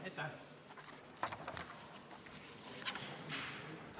Aitäh!